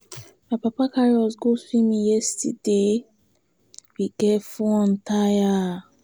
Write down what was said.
My papa carry us go swimming yesterday, we get fun tire.